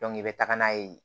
i bɛ taga n'a ye